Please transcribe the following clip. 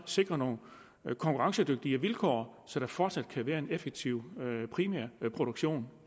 sikrer nogle konkurrencedygtige vilkår så der fortsat kan være en effektiv primærproduktion